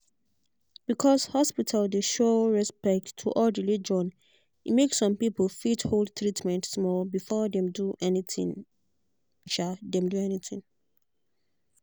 because hospital dey show respect to all religion e make some people fit hold treatment small before dem do anything. dem do anything.